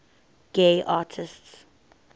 gay artists